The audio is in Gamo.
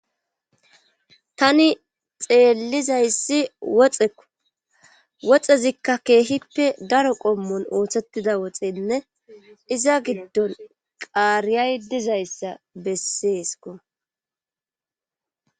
Tani xeellizayssi woxeko woxezikka keehippe daro qommon ooththettida woxenne iza giddon qaariyay dizayssa besseesko